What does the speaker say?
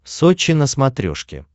сочи на смотрешке